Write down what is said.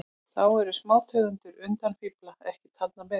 Þá eru smátegundir undafífla ekki taldar með.